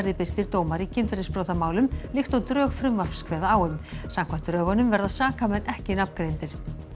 birtir dómar í kynferðisbrotamálum líkt og drög frumvarps kveða á um samkvæmt drögunum verða sakamenn ekki nafngreindir